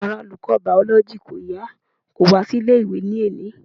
Ara olùkọ́ biology kò yá kò wá sí ilé ìwé ní òní.